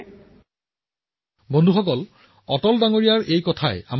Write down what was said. মই আজি এই আৰক্ষীসকলৰ লগতে তেওঁলোকৰ পৰিয়ালকো মনত ৰাখিব বিচাৰো